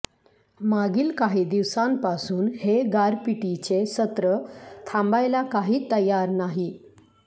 मागील काही दिवसांपासून हे गारपिटीचे सत्र थांबायला काही तयार नाही